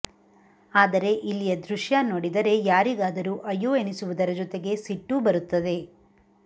ಆದರೆ ಇಲ್ಲಿಯ ದೃಶ್ಯ ನೋಡಿದರೆ ಯಾರಿಗಾದರೂ ಅಯ್ಯೋ ಎನಿಸುವುದರ ಜೊತೆಗೆ ಸಿಟ್ಟೂ ಬರುತ್ತದೆ